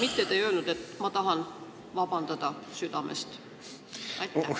Te ei öelnud, et ma tahan südamest vabandada.